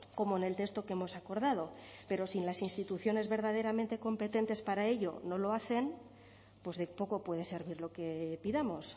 como en el texto que hemos acordado pero si las instituciones verdaderamente competentes para ello no lo hacen pues de poco puede servir lo que pidamos